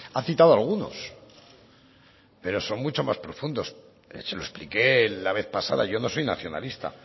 ha citado algunos pero son mucho más profundos se lo expliqué la vez pasada yo no soy nacionalista